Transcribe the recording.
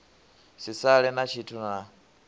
si sale na tshithu na